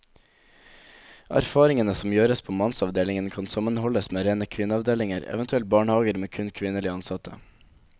Erfaringene som gjøres på mannsavdelingen kan sammenholdes med rene kvinneavdelinger, eventuelt barnehager med kun kvinnelige ansatte.